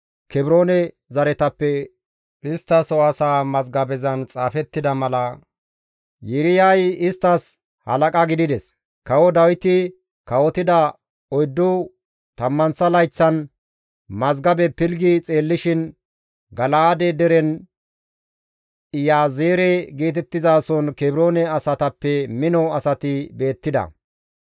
Kebroone zaretappe isttaso asaa mazgabezan xaafettida mala Yiiriyay isttas halaqa gidides; kawo Dawiti kawotida oyddu tammanththa layththan mazgabe pilggi xeellishin Gala7aade deren Iyaazeere geetettizason Kebroone asatappe mino asati beettida.